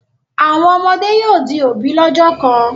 Àwọn ọmọ yóò di òbí lọ́jọ́ kan.